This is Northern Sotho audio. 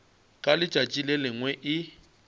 ka letšatši le lengwe e